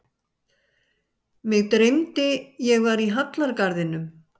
Mig dreymdi ég var í hallargarðinum.